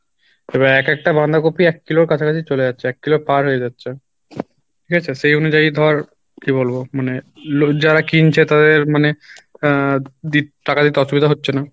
এবার এক একটা বাঁধাকপি এক কিলোর কাছাকাছি চলে যাচ্ছে এক কিলো পার হয়ে যাচ্ছে, ঠিক আছে? সেই অনুযায়ী ধর কী বলবো মানে যারা কিনছে তাদের মানে আহ দি টাকা দিতে অসুবিধা হচ্ছে না